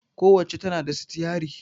Ku wacca tana da sitiyari